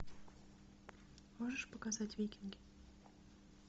можешь показать викинги